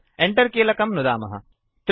Enter कीलकं नुदन्तु